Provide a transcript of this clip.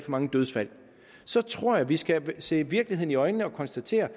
mange dødsfald tror jeg vi skal se virkeligheden i øjnene og konstatere